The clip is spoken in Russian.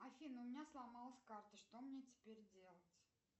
афина у меня сломалась карта что мне теперь делать